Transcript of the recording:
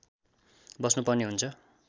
बस्नु पर्ने हुन्छ